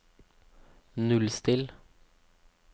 nullstill